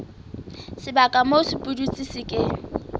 sebaka moo sepudutsi se ke